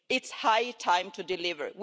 It is high time to deliver.